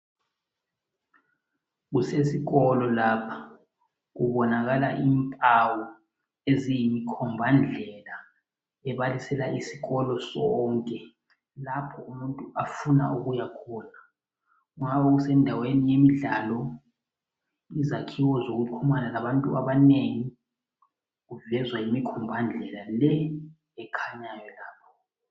Kusesikolo lapho kubonakala impawu eziyinkombandlela ebalusela isikolo sonke lapho umuntu afuna ukuya khona kungaba kusendaweni yemidlalo izakhiwo zokuxhumana labantu abanengi kuvezwa yimikhombandlela le ekhanyayo lapha.